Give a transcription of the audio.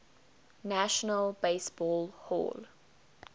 national baseball hall